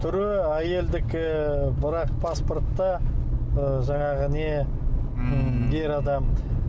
түрі әйелдікі ы бірақ паспортта ы жаңағы не ммм ер адам